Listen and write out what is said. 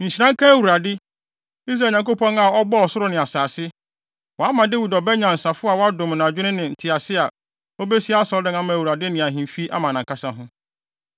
“Nhyira nka Awurade, Israel Nyankopɔn a ɔbɔɔ ɔsoro ne asase! Wama Dawid ɔba nyansafo a wadom no adwene ne ntease a obesi Asɔredan ama Awurade ne ahemfi ama nʼankasa ho.